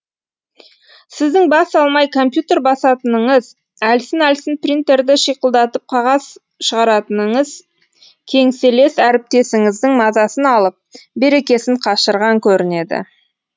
сіздің бас алмай компьютер басатыныңыз әлсін әлсін принтерді шиқылдатып қағаз шығаратыныңыз кеңселес әріптесіңіздің мазасын алып берекесін қашырған көрінеді